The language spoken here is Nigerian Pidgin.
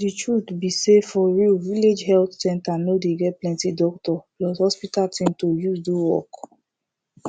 de truth be sayfor real village health center no dey get plenti doctor plus hospital thing to use do work